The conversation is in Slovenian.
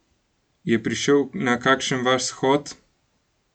Je prišel na kakšen vaš shod?